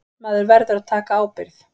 Maður verður að taka ábyrgð.